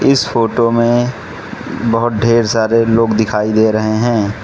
इस फोटो में बहोत ढेर सारे लोग दिखाई दे रहे हैं।